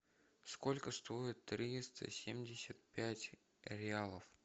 сколько стоит триста семьдесят пять реалов